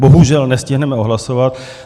Bohužel nestihneme odhlasovat.